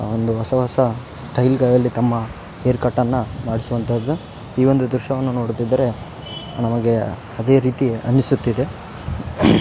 ಒಂದು ಹೊಸ ಹೊಸ ಸ್ಟೈಲ್ ಗಳಲ್ಲಿ ತಮ್ಮ ಹೆರ್ ಕಟ್ಟನ್ನ ಮಾಡ್ಸುವಂತದ್ದು ಈ ಒಂದು ದ್ರಶ್ಯವನ್ನು ನೋಡುತ್ತಿದ್ದರೆ ನಮಗೆ ಅದೇ ರೀತಿ ಅನಿಸುತ್ತಿದೆ.